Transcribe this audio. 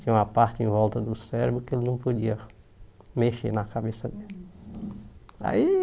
Tinha uma parte em volta do cérebro que ele não podia mexer na cabeça dele. Aí